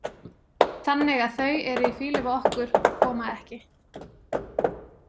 Þannig að þau eru í fýlu við okkur og koma ekki.